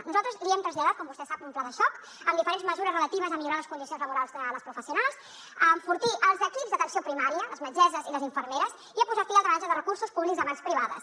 nosaltres li hem traslladat com vostè sap un pla de xoc amb diferents mesures relatives a millorar les condicions laborals de les professionals a enfortir els equips d’atenció primària les metgesses i les infermeres i a posar fi al drenatge de recursos públics a mans privades